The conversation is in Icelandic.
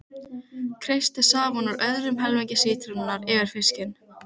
Kreistið safann úr öðrum helmingi sítrónunnar yfir fiskinn.